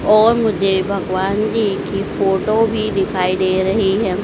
और मुझे भगवान जी की फोटो भी दिखाई दे रहीं हैं।